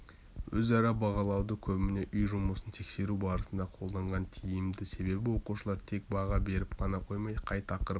өзара бағалауды көбіне үй жұмысын тексеру барысында қолданған тиімді себебі оқушылар тек баға беріп қана қоймай қай тақырып